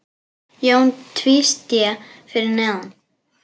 Jón tvísté fyrir neðan.